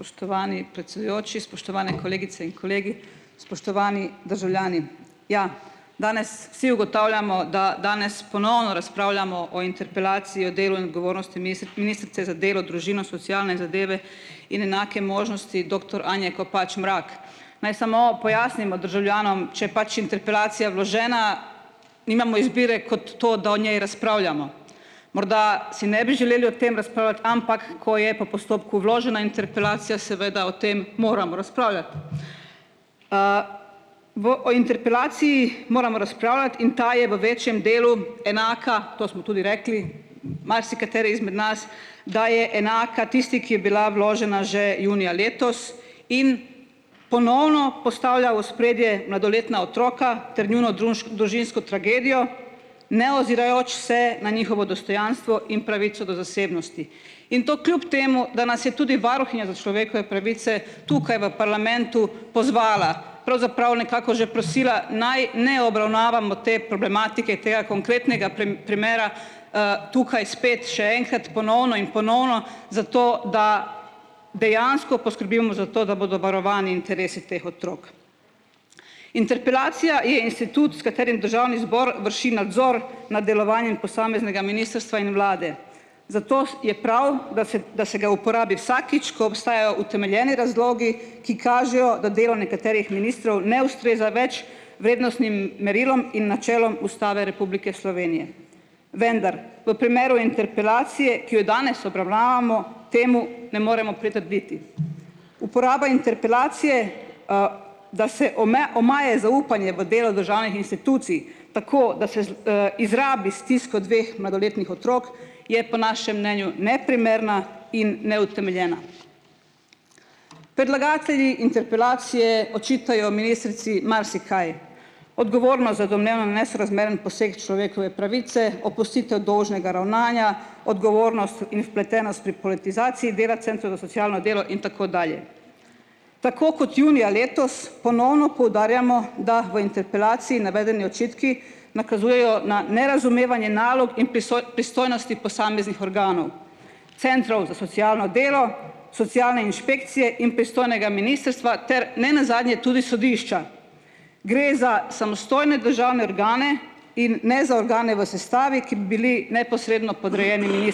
Spoštovani predsedujoči, spoštovane kolegice in kolegi, spoštovani državljani. Ja, danes vsi ugotavljamo, da danes ponovno razpravljamo o interpelaciji o delu ministrice za delo, družino, socialne zadeve in enake možnosti doktor Anje Kopač Mrak. Naj samo pojasnimo državljanom, če pač interpelacija vložena, nimamo izbire kot to, da o njej razpravljamo. Morda si ne bi želeli o tem, ampak ko je po postopku vložena interpelacija, seveda o tem moramo razpravljati. V o interpelaciji moramo, in ta je v večjem delu enaka, to smo tudi rekli, marsikateri izmed nas, da je enaka tisti, ki je bila vložena že junija letos in ponovno postavlja v ospredje mladoletna otroka ter njuno družinsko tragedijo, neozirajoč se na njihovo dostojanstvo in pravico do zasebnosti. In to kljub temu, da nas je tudi varuhinja za človekove pravice, tukaj v parlamentu, pozvala, pravzaprav nekako že prosila, naj ne obravnavamo te problematike, tega konkretnega primera, tukaj spet še enkrat, ponovno in ponovno zato, da dejansko poskrbimo za to, da bodo varovani interesi teh otrok. Interpelacija je institut, s katerim državni zbor vrši nadzor nad delovanjem posameznega in vlade. Zato je prav, da se da se ga uporabi vsakič, ko obstajajo utemeljeni razlogi, ki kažejo, da delo nekaterih ministrov ne ustreza več vrednostnim merilom in načelom Ustave Republike Slovenije. Vendar v primeru interpelacije, ki jo danes obravnavamo, temu ne moremo pritrditi. Uporaba interpelacije, da se omaje zaupanje v delo državnih tako, da se izrabi stisko dveh mladoletnih otrok, je po našem mnenju neprimerna in neutemeljena. Interpelacije očitajo ministrici marsikaj. Odgovornost za domnevno nesorazmeren poseg človekove pravice, opustitev dolžnega ravnanja, odgovornost in vpletenost pri politizaciji dela socialno delo in tako dalje. Tako kot junija letos ponovno poudarjamo, da v interpelaciji navedeni očitki nakazujejo na nerazumevanje nalog in pristojnosti posameznih organov, centrov za socialno delo, socialne inšpekcije in ter nenazadnje tudi sodišča. Gre za samostojne državne organe in ne za organe v sestavi, ki bi bili neposredno podrejeni.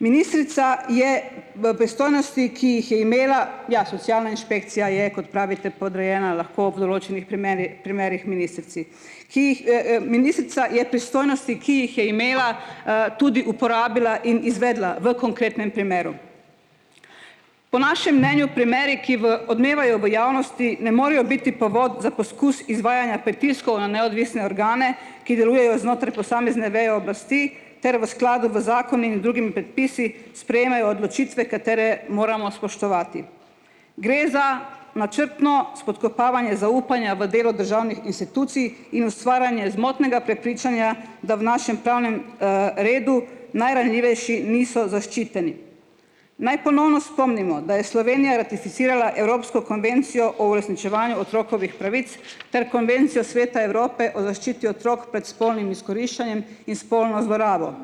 Ministrica je v ki jih je imela, ja socialna inšpekcija je, kot pravite, podrejena lahko v določenih primerih ministrici, ki jih, Ministrica je pristojnosti, ki jih je imela, tudi uporabila in izvedla v konkretnem primeru. Po našem mnenju primeri, ki v odmevajo v javnosti, ne morejo biti povod za poskus izvajanja pritiskov na neodvisne organe, ki delujejo znotraj posamezne veje oblasti ter v skladu v zakoni in drugim predpisi sprejemajo odločitve, katere moramo spoštovati. Gre za načrtno spodkopavanje zaupanja v delo državnih institucij in ustvarjanje zmotnega prepričanja, da v našem pravnem, redu najranljivejši niso zaščiteni. Naj ponovno spomnimo, da je Slovenija ratificirala evropsko konvencijo o uresničevanju otrokovih pravic ter konvencijo Sveta Evrope o zaščiti otrok pred spolnim izkoriščanjem in spolno zlorabo.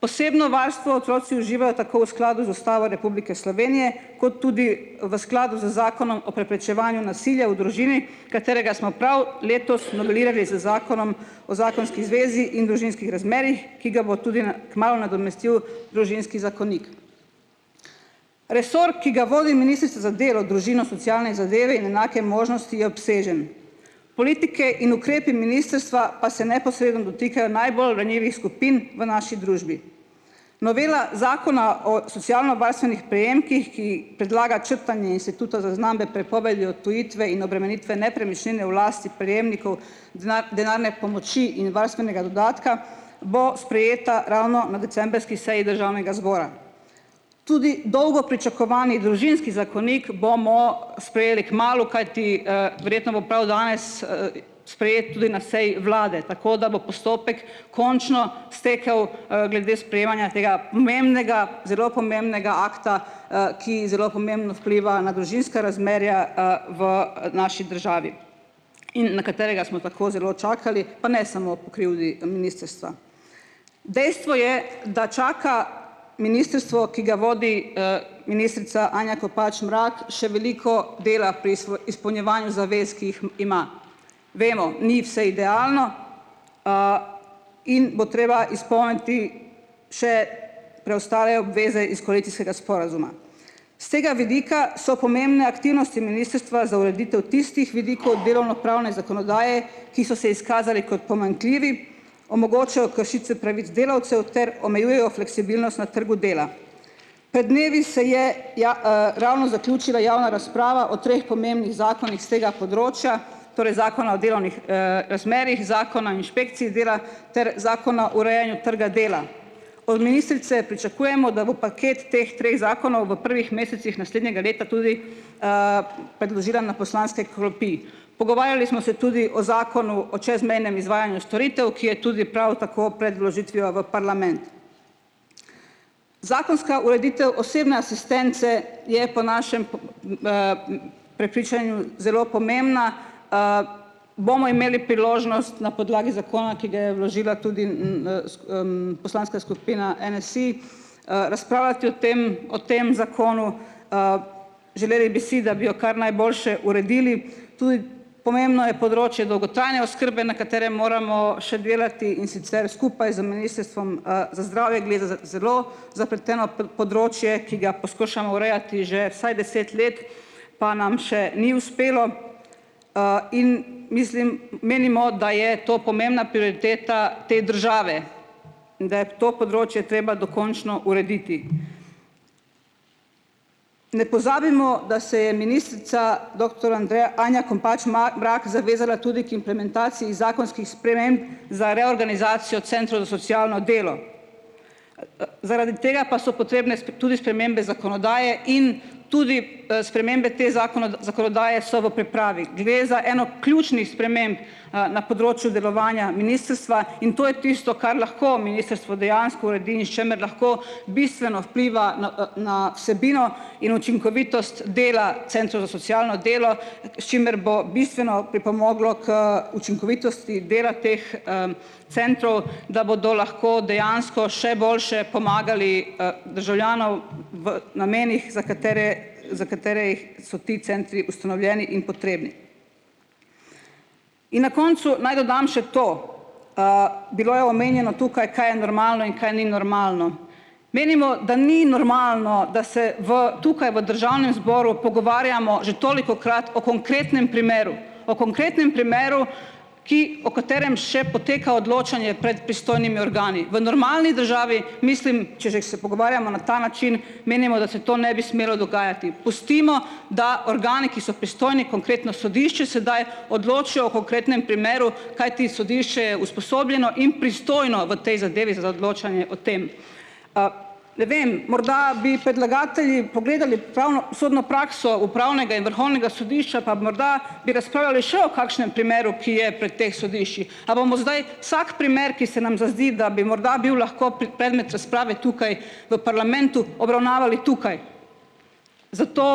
Posebno varstvo otroci uživajo tako v skladu z Ustavo Republike Slovenije kot tudi v skladu z Zakonom o preprečevanju nasilja v družini, katerega smo prav letos novelirali z zakonom o zakonski zvezi in družinskih razmerjih, ki ga bo tudi na kmalu nadomestil družinski zakonik. Resor, ki ga vodi za delo, družino, socialne zadeve in enake možnosti je obsežen. Politike in ukrepi ministrstva pa se neposredno dotikajo najbolj ranljivih skupin v naši družbi. Novela zakona o socialnovarstvenih prejemkih, ki predlaga črtanje instituta zaznambe prepovedi odtujitve in obremenitve nepremičnine v lasti prejemnikov denarne pomoči in varstvenega dodatka, bo sprejeta ravno na decembrski seji državnega zbora. Tudi dolgo pričakovani družinski zakonik bomo sprejeli kmalu, kajti, verjetno bo prav danes sprejet tudi na seji vlade tako, da bo postopek končno stekel, glede sprejemanja tega pomembnega, zelo pomembnega akta, ki zelo pomembno vpliva na družinska razmerja, v, naši državi in na katerega smo tako zelo čakali, pa ne samo po krivdi. Dejstvo je, da čaka ministrstvo, ki ga vodi, ministrica Anja Kopač Mrak, še veliko dela pri izpolnjevanju zavez, ki jih ima. Vemo, ni vse idealno, in bo treba izpolniti še preostale obveze iz sporazuma. S tega vidika so pomembne aktivnosti za ureditev tistih vidikov delovnopravne zakonodaje, ki so se izkazali kot pomanjkljivi, kršitve pravic delavcev ter omejujejo fleksibilnost na trgu dela. Pred dnevi se je ravno zaključila javna razprava o treh pomembnih zakonih s tega področja, torej Zakona o delovnih, razmerjih, Zakona inšpekciji dela ter Zakona urejanju trga dela. Pričakujemo, da bo paket teh treh zakonov v prvih mesecih naslednjega leta tudi, predložila na poslanske klopi. Pogovarjali smo se tudi o zakonu o čezmejnem izvajanju storitev, ki je tudi prav tako pred vložitvijo v parlament. Zakonska ureditev osebne asistence je po našem prepričanju zelo pomembna, Bomo imeli priložnost na podlagi zakona, ki ga je vložila tudi, poslanska skupina NSi, razpravljati o tem o tem zakonu, Želeli bi si, da bi jo kar najboljše uredili. Tudi pomembno je področje dolgotrajne oskrbe, na katerem moramo še delati, in sicer skupaj z Ministrstvom, za zdravje, gre za za zelo zapleteno področje, ki ga poskušamo urejati že vsaj deset let, pa nam še ni uspelo. in mislim, menimo, da je to pomembna prioriteta te države in da je to področje treba dokončno urediti. Ne pozabimo, da se je doktor Andreja Anja Kopač Mrak zavezala tudi k implementaciji zakonskih sprememb za reorganizacijo centrov za socialno delo. Zaradi tega pa so potrebne tudi spremembe zakonodaje in tudi, spremembe te zakonodaje so v pripravi. Gre za eno ključnih sprememb, na področju delovanja ministrstva. In to je tisto, kar lahko ministrstvu dejansko uredi in s čimer lahko bistveno vpliva na, na vsebino in učinkovitost dela centrov za socialno delo, s čimer bo bistveno pripomoglo k učinkovitosti dela teh, centrov, da bodo lahko dejansko še boljše pomagali, državljanom v namenih, za katere za katere jih so ti centri ustanovljeni in potrebni. In na koncu naj dodam še to, bilo je omenjeno tukaj, kaj je normalno in kaj ni normalno. Menimo, da ni normalno, da se v tukaj v državnem zboru pogovarjamo že tolikokrat o konkretnem primeru, o konkretnem primeru, ki o katerem še poteka odločanje pred pristojnimi organi. V normalni državi, mislim, če že ko se pogovarjamo na ta način, menimo, da se to ne bi smelo dogajati. Pustimo, da organi, ki so pristojni, konkretno sodišče sedaj, odločijo o konkretnem primeru. Kajti sodišče je usposobljeno in pristojno v tej zadevi o tem. Ne vem, morda bi predlagatelji pogledali pravno sodno prakso upravnega in vrhovnega sodišča, pa bi morda bi razpravljali še o kakšnem primeru, ki je pri teh sodiščih. A bomo zdaj vsak primer, ki se nam zazdi, da bi morda bil lahko predmet razprave tukaj v parlamentu, obravnavali tukaj? Zato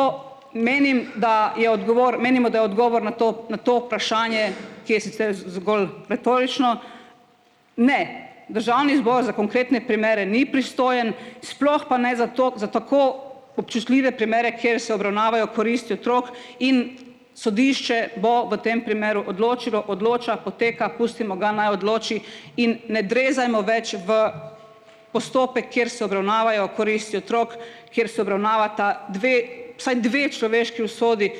menim, da je odgovor, menimo, da odgovor na to na to vprašanje, ki je sicer zgolj retorično. Ne, državni zbor za konkretne primere ni pristojen. Sploh pa naj za to, za tako občutljive primere, kjer se obravnavajo koristi otrok, in sodišče bo v tem primeru odločilo, odloča, poteka, pustimo ga, naj odloči, in ne drezajmo več v postopek, kjer se obravnavajo, kjer se obravnavata dve, vsaj dve človeški usodi,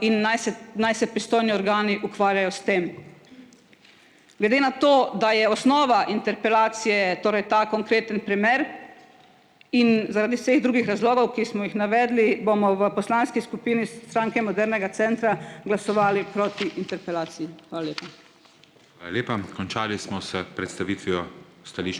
in naj se naj se pristojni organi ukvarjajo s tem. Glede na to, da je osnova interpelacije torej ta konkretni primer in zaradi vseh drugih razlogov, ki smo jih navedli, bomo v poslanski skupini modernega centra glasovali proti interpelaciji. Hvala lepa.